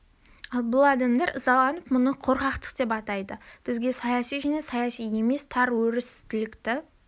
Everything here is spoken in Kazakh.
ал бұл адамдар ызаланып мұны қорқақтық деп атайды бізге саяси және саяси емес тар өрістілікті